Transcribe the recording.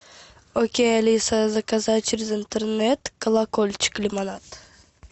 окей алиса заказать через интернет колокольчик лимонад